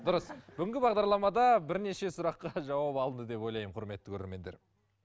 дұрыс бүгінгі бағдарламада бірнеше сұраққа жауап алды деп ойлаймын құрметті көрермендер